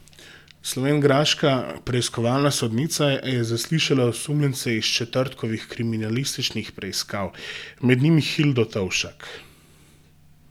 Slovenjgraška preiskovalna sodnica je zaslišala osumljence iz četrtkovih kriminalističnih preiskav, med njimi Hildo Tovšak.